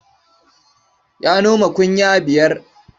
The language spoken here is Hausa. Ya noma kunya biyar.